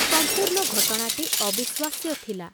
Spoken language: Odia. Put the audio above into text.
ସମ୍ପୂର୍ଣ୍ଣ ଘଟଣାଟି ଅବିଶ୍ଵାସ୍ୟ ଥିଲା।